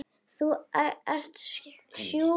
Þú ert sjúkur maður.